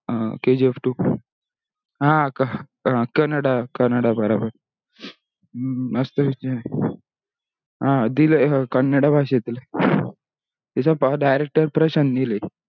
अह kgf two आह कन्नडा कन्नडा बराबर. मसत picture हे. हा दिलेला कन्नडा भाषेत हे. त्याचा पहा director प्रशांत नील हे.